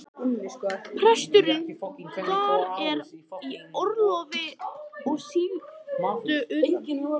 Presturinn þar er í orlofi og sigldur utan.